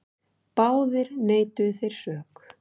Báðir neituðu þeir sök.